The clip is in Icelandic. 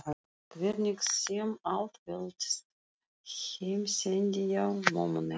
Hvernig sem allt veltist. heimsendi já, mömmu nei.